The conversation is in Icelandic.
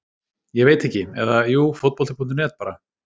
Ég veit ekki, eða jú fótbolti.net bara.